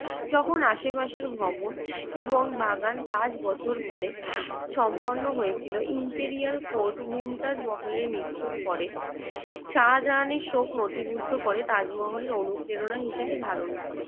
তখন আশপাশের ভবন এবং বাগান পাঁচ বছর পরে সম্পন্ন হয়েছিল। ইন্টিরিয়াল কোড মমতাজ মহলের মৃত্যুর পরে শাহজাহানের শোক নথিভুক্ত করে তাজমহলের অনুপ্রেরণা হিসেবে ধারণ করে।